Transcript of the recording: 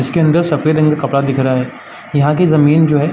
इसके अंदर सफ़ेद रंग का कपड़ा दिख रहा है। जहाँ की जमीन जो है।